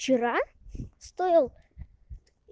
вчера стол